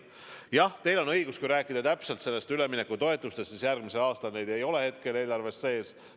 Jah, teil on õigus: järgmise aasta üleminekutoetusi ei ole hetkel eelarves sees.